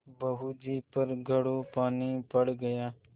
बहू जी पर घड़ों पानी पड़ गया